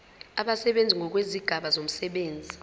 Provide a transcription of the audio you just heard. abasebenzi ngokwezigaba zomsebenzi